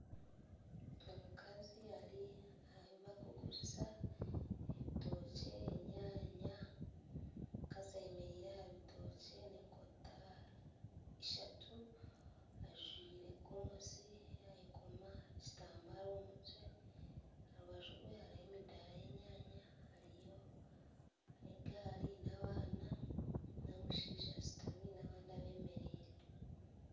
Omukazi Ari ahu bakuguriza ebitookye enyanya omukazi ayemereire aha bitookye nenkota ishatu ajwaire Gomesi yayekoma ekitambaara omumutwe aharubaju rwe hariho emidaara yenyanya hariyo negaari nabaana nomushaija ashutami nabandi abemereire